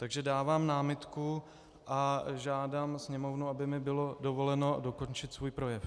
Takže dávám námitku a žádám Sněmovnu, aby mi bylo dovoleno dokončit svůj projev.